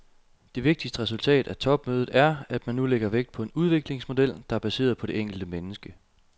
Det vigtigste resultat af topmødet er, at man nu lægger vægt på en udviklingsmodel, der er baseret på det enkelte menneske.